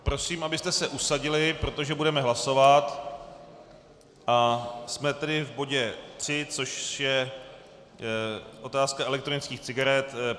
Prosím, abyste se usadili, protože budeme hlasovat a jsme tedy v bodě tři, což je otázka elektronických cigaret.